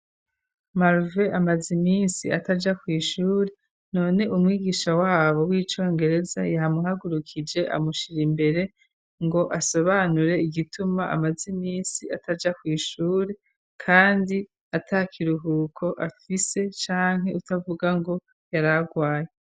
Marve amazi iminsi ataja ku ishuri none umwigisha wabo w'icongereza yamuhagurukije amushira imbere ngo asobanure igituma amaze iminsi ataja ku ishuri, kandi ata kiruhuko afise canke utavuga ngo yaragwaye.